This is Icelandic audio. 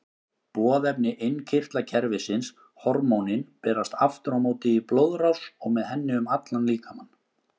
Boðefni innkirtlakerfisins, hormónin, berast aftur á móti í blóðrás og með henni um allan líkamann.